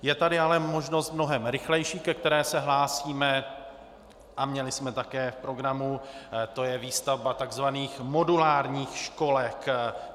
Je tady ale možnost mnohem rychlejší, ke které se hlásíme a měli jsme také v programu, to je výstavba tzv. modulárních školek.